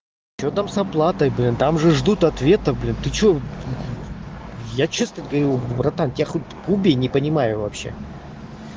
что там с оплатой блин там же ждут ответа блин ты что я честно говорю братан тебя хоть убей не понимаю вообще